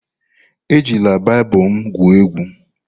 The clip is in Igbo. Ejila Baịbụl m egwu egwu!